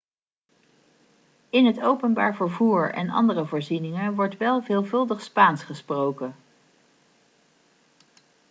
in het openbaar vervoer en andere voorzieningen wordt wel veelvuldig spaans gesproken